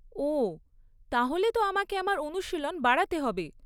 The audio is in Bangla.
ওহ তাহলে তো আমাকে আমার অনুশীলন বাড়াতে হবে।